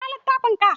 Ina littafin ka?